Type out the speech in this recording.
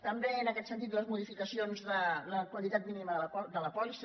també en aquest sentit les modificacions de la quantitat mínima de la pòlissa